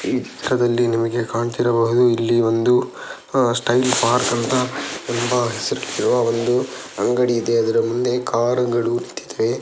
ಈ ಚಿತ್ರದಲ್ಲಿ ನಿಮಗೆ ಕಾಣ್ತಿರಬಹುದು ಇಲ್ಲಿ ಒಂದು ಅಹ್ ಸ್ಟೈಲ್ ಪಾರ್ಕ್ ಅಂತ ಎಂಬ ಹೆಸರು ಒಂದು ಅಂಗಡಿ ಇದೆ ಅದರ ಮುಂದೆ ಕಾರ್ ಗಳು ನಿಂತಿದೆ.